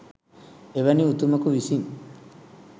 එවැනි උතුමකු විසින්